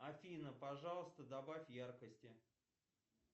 афина пожалуйста добавь яркости